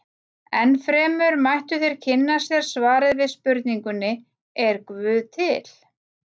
Ennfremur mættu þeir kynna sér svarið við spurningunni Er guð til?